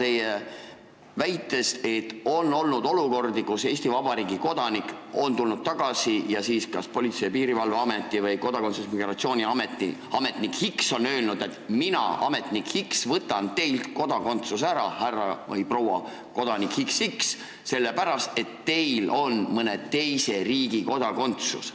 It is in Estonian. Ma saan aru, et on olnud olukordi, kus Eesti Vabariigi kodanik on tulnud Eestisse tagasi ning kas Politsei- ja Piirivalveameti või Kodakondsus- ja Migratsiooniameti ametnik X on öelnud, et mina, ametnik X, võtan teilt kodakondsuse ära, härra või proua XX, sellepärast et teil on ühe teise riigi kodakondsus.